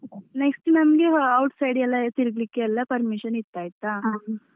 Next ನಮ್ಗೆ outside ಯೆಲ್ಲ ತೀರ್ಗ್ಲಿಕ್ಕೆಲ್ಲ permission ಇತ್ತು ಆಯ್ತಾ.